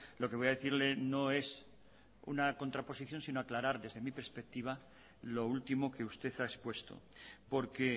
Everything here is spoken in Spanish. lo que voy a decirle no es una contraposición sino aclarar desde mi perspectiva lo último que usted ha expuesto porque